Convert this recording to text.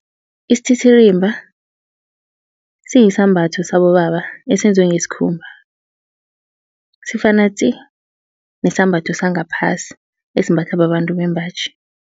Isititirimba siyisambatho sabobaba esenzwe ngesikhumba. Sifana tsi nesambatho sangaphasi esimbathwa babantu bembaji.